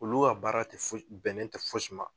Olu ka baara tɛ foyi bɛnnen tɛ fosi ma.